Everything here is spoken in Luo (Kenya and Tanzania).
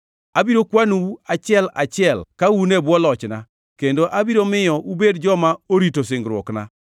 Abiro kwanou achiel achiel ka un e bwo lochna, kendo abiro miyo ubed joma orito singruokna.